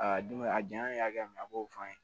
Aa dunbɛ a janya ye hakɛ min ye a b'o fɔ an ye